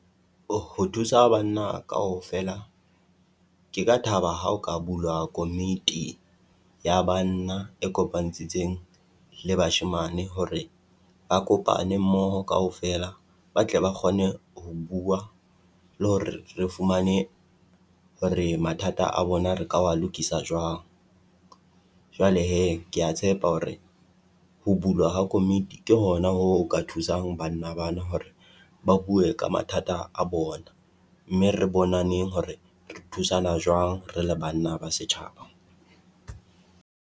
O ho thusa banna kaofela, ke ka thaba ha o ka bulwa komiti ya banna e kopantshitseng le bashemane hore ba kopane mmoho kaofela, ba tle ba kgone ho bua le hore re fumane hore mathata a bona re ka wa lokisa jwang. Jwale hee kea tshepa hore ho bulwa ha komiti ke hona ho ka thusang banna bana hore ba bue ka mathata a bona, mme re bonaneng hore re thusana jwang re le bana ba setjhaba.